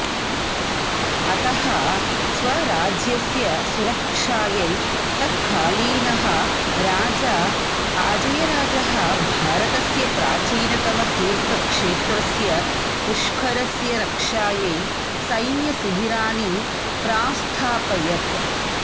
अतः स्वराज्यस्य सुरक्षायै तत्कालीनः राजा अजयराजः भारतस्य प्राचीनतमतीर्थक्षेत्रस्य पुष्करस्य रक्षायै सैन्यशिबिराणि प्रास्थापयत्